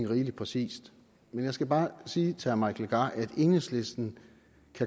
rigelig præcist men jeg skal bare sige til herre mike legarth at enhedslisten